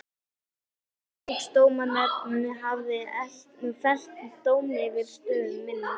Fisksjúkdómanefnd hafði fellt dóm yfir stöð minni.